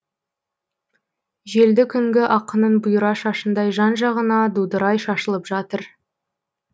желді күнгі ақынның бұйра шашындай жан жағына дудырай шашылып жатыр